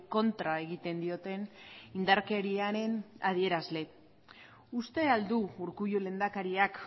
kontra egiten dioten indarkeriaren adierazle uste al du urkullu lehendakariak